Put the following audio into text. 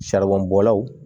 bɔlaw